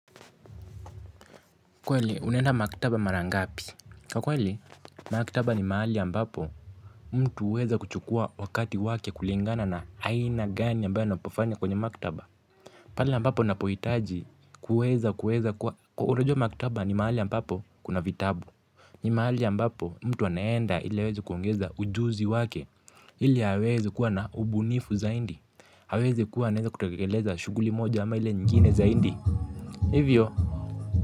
Kweli unaenda maktaba mara ngapi kwa kweli maktaba ni mahali ambapo mtu uweza kuchukua wakati wake kulingana na aina gani ambayo anapofanya kwenye maktaba pale ambapo napohitaji kuweza kuweza kwa unajua maktaba ni mahali ambapo kuna vitabu ni mahali ambapo mtu anaenda ile aweze kuongeza ujuzi wake ili aweze kuwa na ubunifu zaindi aweze kuwa anaweza kutekeleza shuguli moja ama ile nyingine zaindi hivyo.